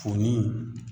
Foni